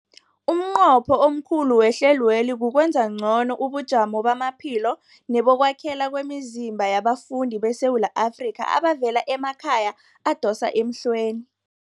Umnqopho omkhulu wehlelweli kukwenza ngcono ubujamo bamaphilo nebokwakhela kwemizimba yabafundi beSewula Afrika abavela emakhaya adosa emhlweni.